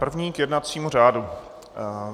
První k jednacímu řádu.